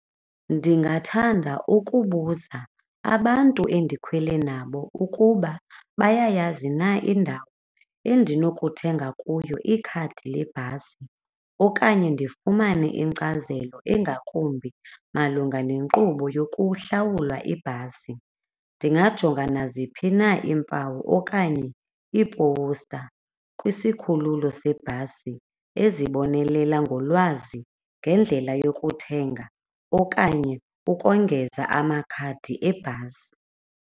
Ndingathanda ukubuza abantu endikhwele nabo ukuba bayayazi na indawo endinokuthenga kuyo ikhadi lebhasi okanye ndifumane inkcazelo engakumbi malunga nenkqubo yokuhlawula ibhasi. Ndingajonga naziphi na iimpawu okanye iipowusta kwisikhululo sebhasi ezibonelela ngolwazi ngendlela yokuthenga okanye ukongeza amakhadi ebhasi.